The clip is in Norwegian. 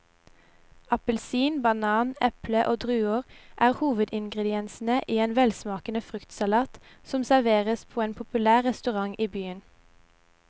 Appelsin, banan, eple og druer er hovedingredienser i en velsmakende fruktsalat som serveres på en populær restaurant i byen.